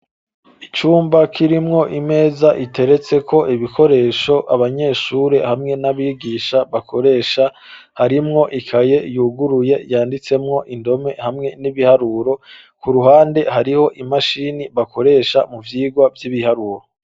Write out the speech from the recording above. Icumba kirimwo imeza iteretseko ibikoresho abanyeshure hamwe n'abigisha bakoresha harimwo ikaye yuguruye yanditsemwo indome hamwe n'ibiharuro, ku ruhande hariho imashini bakoresha mu vyigwa vy'ibiharuro.